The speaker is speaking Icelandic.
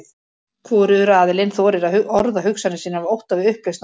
Hvorugur aðilinn þorir að orða hugsanir sínar af ótta við upplausn og deilur.